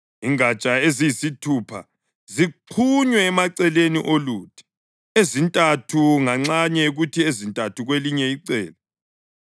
Ingatsha eziyisithupha zixhunywe emaceleni oluthi, ezintathu nganxanye kuthi ezintathu kwelinye icele.